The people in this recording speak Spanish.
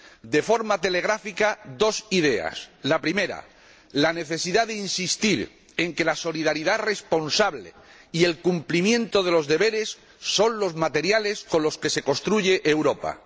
De forma telegráfica, dos ideas la primera, la necesidad de insistir en que la solidaridad responsable y el cumplimiento de los deberes son los materiales con los que se construye Europa